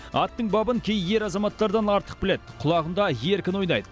аттың бабын кей ер азаматтардан артық біледі құлағында еркін ойнайды